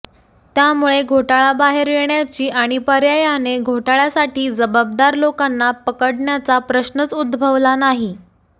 त्यामुळे घोटाळा बाहेर येण्याची आणि पर्यायाने घोटाळ्यासाठी जबाबदार लोकांना पकडण्याचा प्रश्नच उद्भभवला नाही